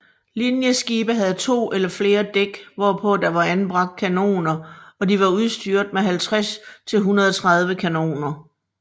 Linjeskibe havde to eller flere dæk hvorpå der var anbragt kanoner og de var udstyret med 50 til 130 kanoner